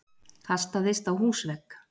Kastaðist á húsvegg!